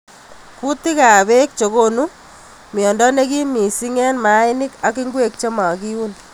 Kutik ab bek chekonu mnyendo nekim missing eng mainik ak ngwek chemakiuun.